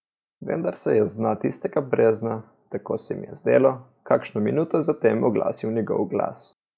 Vendar se je z dna tistega brezna, tako se mi je zdelo, kakšno minuto za tem oglasil njegov glas.